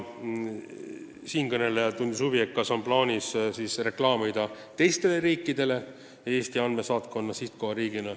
Siinkõneleja tundis huvi, kas on plaanis reklaamida Eestit teistele riikidele andmesaatkonna sihtkohariigina.